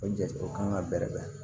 O jate o kan ka bɛrɛ bɛn